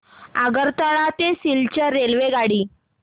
आगरतळा ते सिलचर रेल्वेगाडी